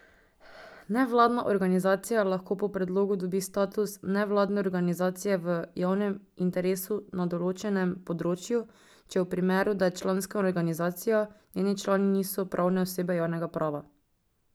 Nevladna organizacija lahko po predlogu dobi status nevladne organizacije v javnem interesu na določenem področju, če v primeru, da je članska organizacija, njeni člani niso pravne osebe javnega prava.